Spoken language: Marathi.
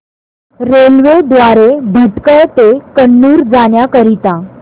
रेल्वे द्वारे भटकळ ते कन्नूर जाण्या करीता